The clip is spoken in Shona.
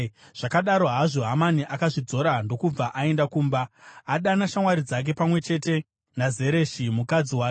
Zvakadaro hazvo, Hamani akazvidzora ndokubva aenda kumba. Akadana shamwari dzake pamwe chete naZereshi, mukadzi wake,